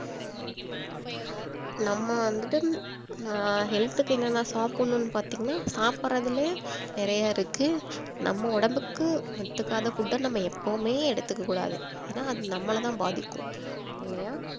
நம்ம வந்துட்டு ஆஹ் health க்கு என்னென்ன சாப்பிடணும் பாத்தீங்கன்னா சாப்பிடுறதிலயே நிறைய இருக்கு நம்ம உடம்புக்கு ஒத்துக்காத food அ நம்ப எப்பவுமே எடுத்துக்க கூடாது ஏன்னா அது நம்மள தான் பாதிக்கும் இல்லையா